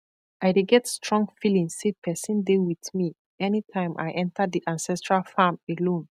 i dey get strong feeling say person dey with me anytime i enter the ancestral farm alone